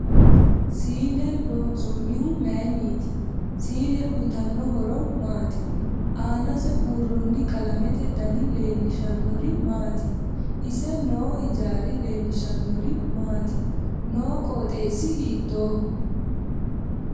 Siine loonsoonihu mayiiniti siine uyiitanno horo maati aanase buurooni qalamete danni leelishanori maati ise noo hijaari leelishanori maati noo qoxeesi hiitooho